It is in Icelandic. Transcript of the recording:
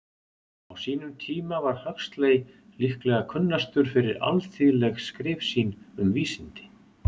Á sínum tíma var Huxley líklega kunnastur fyrir alþýðleg skrif sín um vísindi.